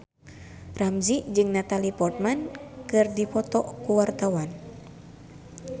Ramzy jeung Natalie Portman keur dipoto ku wartawan